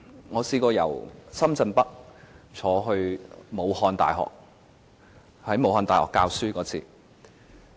我曾經由深圳北乘坐高鐵前往武漢大學，到那裏授課。